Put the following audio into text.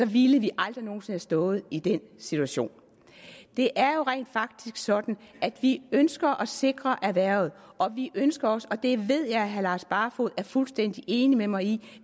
ville vi aldrig nogen sinde have stået i den situation det er jo rent faktisk sådan at vi ønsker at sikre erhvervet og vi ønsker også og det ved jeg at herre lars barfoed er fuldstændig enig med mig i